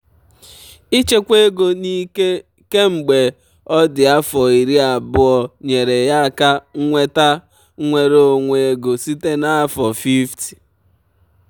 ịchekwa ego n'ike kemgbe ọ dị afọ iri abụọ nyeere ya aka nweta nnwere onwe ego site na afọ 50.